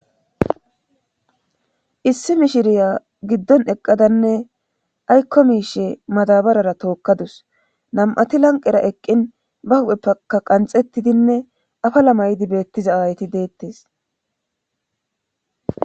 issi mishiriya giddon eqqadanne aykko miishe madabarara tookkadus nam7ati lanqera eqqin ba hupheppka qanxettidinne afala maydi beettiza awayti deettes